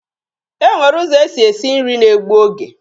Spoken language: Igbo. E nwere ụzọ e si esi nri na-egbu oge.